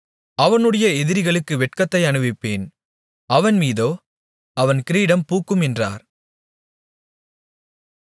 அவனுடைய எதிரிகளுக்கு வெட்கத்தை அணிவிப்பேன் அவன் மீதோ அவன் கிரீடம் பூக்கும் என்றார்